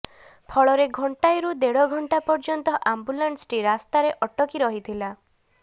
ଫଳରେ ଘଣ୍ଟାଏରୁ ଦେଢ ଘଣ୍ଟା ପର୍ଯ୍ୟନ୍ତ ଆମ୍ବୁଲାନ୍ସଟି ରାସ୍ତାରେ ଅଟକି ରହିଥିଲା